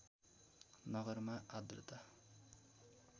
नगरमा आर्द्रता